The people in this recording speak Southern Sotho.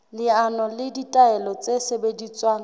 leano le ditaelo tse sebediswang